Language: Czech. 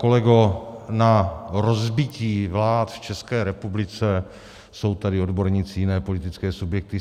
Kolego, na rozbití vlád v České republice jsou tady odborníci, jiné politické subjekty.